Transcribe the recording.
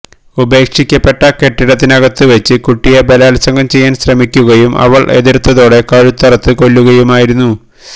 ഉപേക്ഷിക്കപ്പെട്ട കെട്ടിടത്തിനകത്തുവച്ച് കുട്ടിയെ ബലാത്സംഗം ചെയ്യാന് ശ്രമിക്കുകയും അവള് എതിര്ത്തതോടെ കഴുത്തറുത്ത് കൊല്ലുകയുമായിരുന്നു